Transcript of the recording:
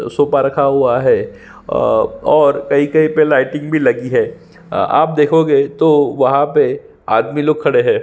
Sofa रखा हुआ है और कही कही पे लाइटिंग भी लगी है आप देखोगे तो वहा पे आदमी लोग खड़े है।